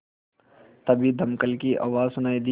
तभी दमकल की आवाज़ सुनाई दी